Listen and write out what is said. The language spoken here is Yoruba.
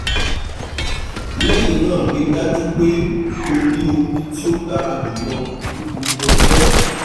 lẹhinna rii daju pe o ni omi ti o dara julọ ni gbogbo ọjọ